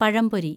പഴംപൊരി